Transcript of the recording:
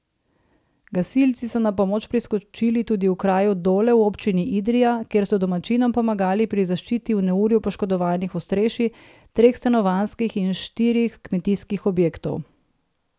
Gasilci so na pomoč priskočili tudi v kraju Dole v občini Idrija, kjer so domačinom pomagali pri zaščiti v neurju poškodovanih ostrešji treh stanovanjskih in štirih kmetijskih objektov.